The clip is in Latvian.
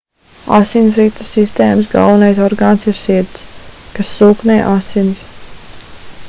asinsrites sistēmas galvenais orgāns ir sirds kas sūknē asinis